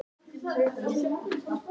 Bannað að blóta